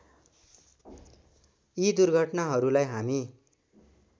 यी दुर्घटनाहरूलाई हामी